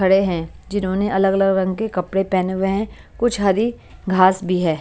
खड़े हैं जिन्होंने अलग-अलग रंग के कपडे पहने हुए हैं और कुछ हरी घास भी है।